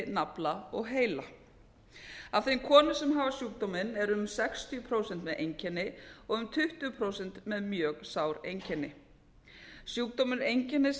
nafla og heila af þeim konum sem hafa sjúkdóminn eru um sextíu prósent með einkenni og um tuttugu prósent með mjög sár einkenni sjúkdómurinn einkennist